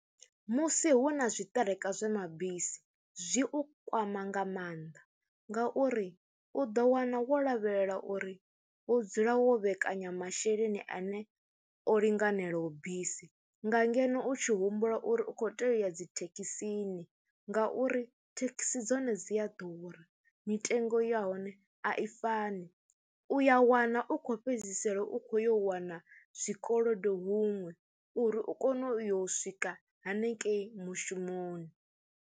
Musi hu na zwiṱereke zwe mabisi zwi u kwama nga mannḓa ngauri u ḓo wana wo lavhelela uri wo dzula wo vhekanya masheleni ane o linganelaho bisi nga ngeno u tshi humbula uri u khou tea u ya dzi thekhisini ngauri thekhisi dzone dzi a ḓura, mitengo ya hone a i fani. U ya wana u khou fhedzisela u khou yo wana zwikolodo huṅwe uri u kone u yo swika hanengei mushumoni.